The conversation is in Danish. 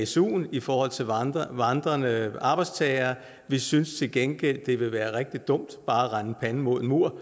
suen i forhold til vandrende vandrende arbejdstagere vi synes til gengæld det ville være rigtig dumt bare at rende panden mod en mur